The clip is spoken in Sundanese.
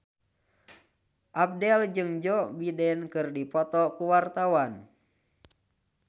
Abdel jeung Joe Biden keur dipoto ku wartawan